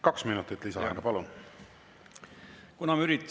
Kaks minutit lisaaega, palun!